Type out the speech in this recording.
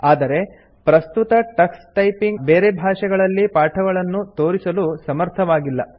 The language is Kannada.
ಆದರೆ ಪ್ರಸ್ತುತ ಟಕ್ಸ್ ಟೈಪಿಂಗ್ ಬೇರೆ ಭಾಷೆಗಳಲ್ಲಿ ಪಾಠಗಳನ್ನು ತೋರಿಸಲು ಸಮರ್ಥವಾಗಿಲ್ಲ